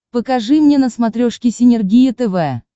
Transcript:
покажи мне на смотрешке синергия тв